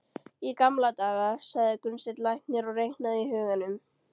Í gamla daga, sagði Gunnsteinn læknir og reiknaði í huganum.